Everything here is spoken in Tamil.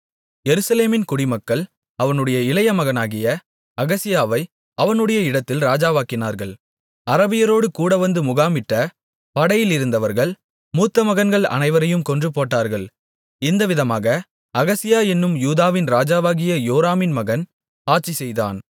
எருசலேமின் குடிமக்கள் அவனுடைய இளையமகனாகிய அகசியாவை அவனுடைய இடத்தில் ராஜாவாக்கினார்கள் அரபியரோடு கூடவந்து முகாமிட்ட படையிலிருந்தவர்கள் மூத்தமகன்கள் அனைவரையும் கொன்றுபோட்டார்கள் இந்தவிதமாக அகசியா என்னும் யூதாவின் ராஜாவாகிய யோராமின் மகன் ஆட்சிசெய்தான்